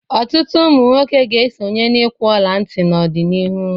Ọtụtụ ụmụ nwoke ga-esonye n'ịkwụ ọla ntị n'ọdịnihu.